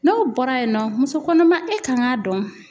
N'o bɔra yen nɔ muso kɔnɔma e kan k'a dɔn